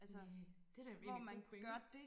næh det er da egentlig en god pointe